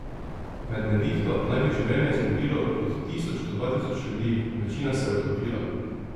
Med nevihto naj bi življenje zgubilo od tisoč do dva tisoč ljudi, večina se je utopila.